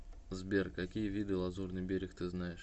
сбер какие виды лазурный берег ты знаешь